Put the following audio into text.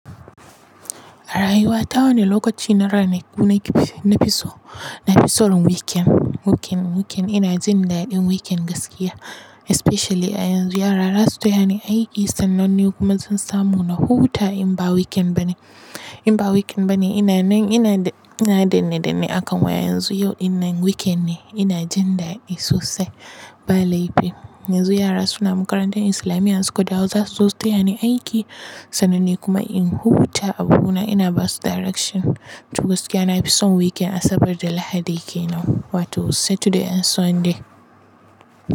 Rayuwa ta wani lokaci na ranaku na fi so, na fi son weekend. Weekend, weekend ina jin daɗin weekend gaskiya especially a yanzu yara za su taya ni aiki sannan ni kuma zan samu na huta in ba weekend bane. In ba weekend bane ina nan ina dane dane akan waya yanzu yau ina nan weekend ne ina jin daɗi sosai ba laifi. Yanzu yara suna makarantar islamiya in suka dawo za su zo su taya ni aiki sannan ni kuma in huta a buna ina basu direction. To gaskiya na fi son weekend Asabar da Lahadi kenan wato Saturday and Sunday.